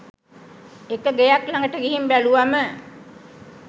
එක ගෙයක් ලඟට ගිහින් බැලුවම